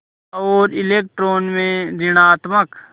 और इलेक्ट्रॉन में ॠणात्मक